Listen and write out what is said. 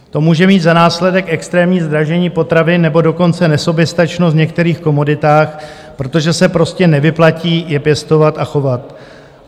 To může mít za následek extrémní zdražení potravin, nebo dokonce nesoběstačnost v některých komoditách, protože se prostě nevyplatí je pěstovat a chovat.